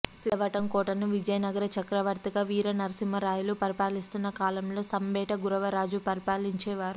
సిద్ధవటం కోటను విజయనగర చక్రవర్తిగా వీర నరసింహరాయలు పరిపాలిస్తున్న కాలంలో సంబెట గురవరాజు పరిపాలించేవారు